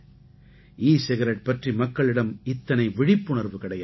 ஈ cigarette பற்றி மக்களிடம் இத்தனை விழிப்புணர்வு கிடையாது